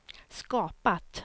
skapat